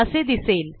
असे दिसेल